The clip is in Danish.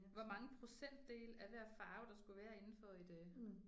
Hvor mange procentdele af hver farve der skulle være indenfor et øh